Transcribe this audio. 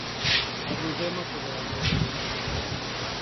Na gwĩthema kũgayania bũrũri